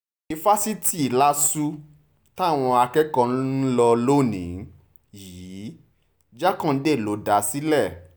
yunifásitì lásù táwọn akẹ́kọ̀ọ́ ń lò lónìí yìí jákándé ló dá a sílẹ̀